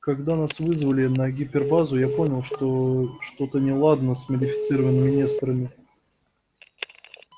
когда нас вызвали на гипербазу я понял что что-то неладно с модифицированными несторами